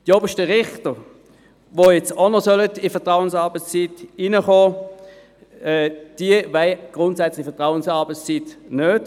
Die obersten Richter, die jetzt auch noch der Vertrauensarbeitszeit unterstellt werden sollen, wollen die Vertrauensarbeitszeit grundsätzlich nicht.